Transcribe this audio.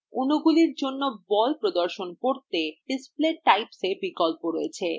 অণুগুলির জন্য বল প্রদর্শন করতে আমাদের display typeswe বিকল্প রয়েছে